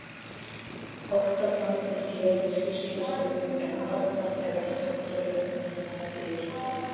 Óttablandin gleði hríslast um mig en dofnar þegar undrunin nær yfirhöndinni.